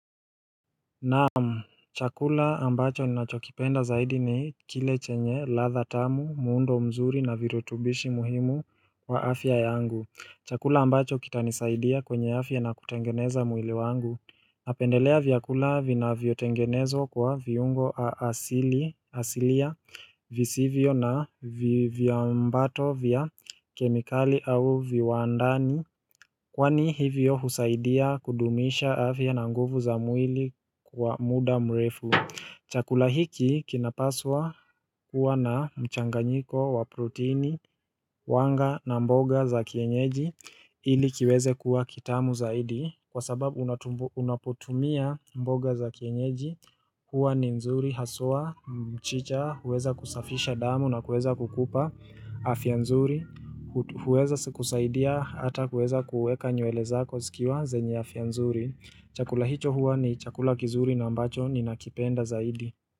Naamu, chakula ambacho nachokipenda zaidi ni kile chenye latha tamu, muundo mzuri na virutubishi muhimu kwa afya yangu Chakula ambacho kitanisaidia kwenye afya na kutengeneza mwili wangu napendelea viakula vina viotengenezo kwa viungo asilia visivyo na viambato vya kemikali au viwandani Kwani hivyo husaidia kudumisha afya na nguvu za mwili kwa muda mrefu Chakulahiki kinapaswa kuwa na mchanganyiko wa proteini, wanga na mboga za kienyeji ili kiweze kuwa kitamu zaidi Kwa sababu unapotumia mboga za kienyeji kuwa ni nzuri, haswa, mchicha, huweza kusafisha damu na kuweza kukupa Afianzuri, huweza sikusaidia hata huweza kuweka nyuele zako zikiwa zenye afia nzuri Chakula hicho huwa ni chakula kizuri na ambacho ni nakipenda zaidi.